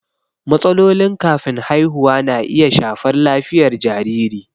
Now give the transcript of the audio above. Matsalolin kafin haihuwa na iya shafar lafiyar jariri.